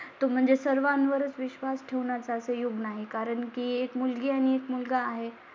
तो म्हणजे सर्व वरच विश्वास ठेव याचं असेल नाही कारण की एक मुलगी आणि एक मुलगा आहे